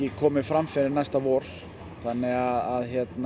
komið fram næsta vor þannig að